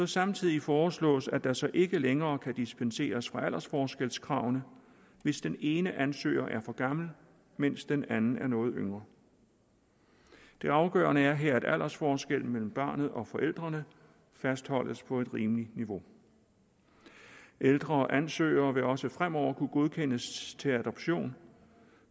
samtidig foreslås at der så ikke længere kan dispenseres fra aldersforskelskravene hvis den ene ansøger er for gammel mens den anden er noget yngre det afgørende er her at aldersforskellen mellem barnet og forældrene fastholdes på et rimeligt niveau ældre ansøgere vil også fremover kunne godkendes til adoptionen